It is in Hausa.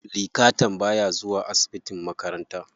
Likatan baya zuwa asibitin makaranta.